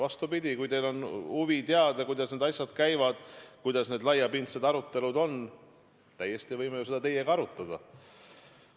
Vastupidi, kui teil on huvi teada, kuidas need asjad käivad, millised need laiapindsed arutelud on, siis võime ju seda teiega arutada.